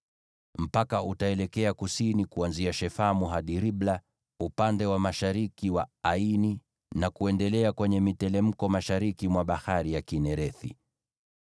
Mpaka utaelekea kusini kuanzia Shefamu hadi Ribla upande wa mashariki wa Aini, na kuendelea kwenye miteremko mashariki mwa Bahari ya Kinerethi.